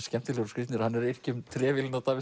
skemmtilegir og skrýtnir hann er að yrkja um trefilinn á Davíð